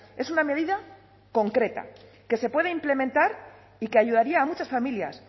es una medida concreta que se puede implementar y que ayudaría a muchas familias